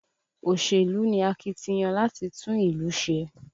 Òṣèlú ni akitiyan láti tún ìlú ṣe